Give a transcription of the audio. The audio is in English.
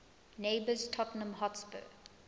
neighbours tottenham hotspur